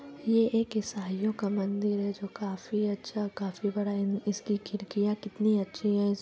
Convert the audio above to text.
ये एक इसाइयों का मंदिर हैं जो काफी अच्छा काफी बड़ा इसकी खिड़कियाँ कितनी अच्छे है।